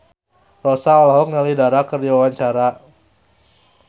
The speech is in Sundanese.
Rossa olohok ningali Dara keur diwawancara